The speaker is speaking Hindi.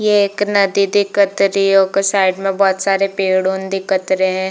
ये एक नदी दिखत रही है ओकर साइड में बहुत सारे पेड़ोंन दिखत रहे --